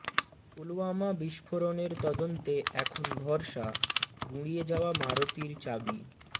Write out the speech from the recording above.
পুলওয়ামা বিস্ফোরণের তদন্তে এখন ভরসা গুঁড়িয়ে যাওয়া মারুতির চাবি